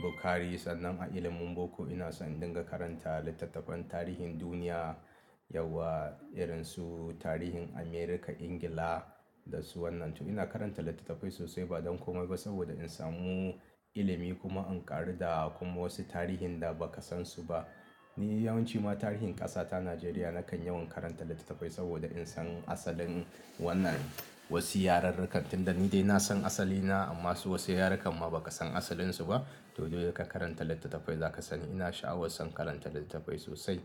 Bukhari. Sannan a ilimin boko ina son in dinga karanta littattafan tarihin duniya yauwa, irin su tarihin America, Ingila da su wannan. To ina karanta littattafai sosai ba don komai ba saboda in samu ilimi kuma in ƙaru da kuma wasu tarihin da ba ka san su ba. Ni yawanci ma tarihin ƙasa ta Najeriya nakan yawan karanta littattafai saboda in san asalin wannan wasu yararrakan da ni dai na san asali na amma su wasu yarakanma ba ka san asalinsu ba. To dole ka karanta littattafai za ka sani. Ina sha'awar son karanta littattafai sosai.